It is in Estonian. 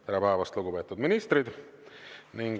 Tere päevast, lugupeetud ministrid!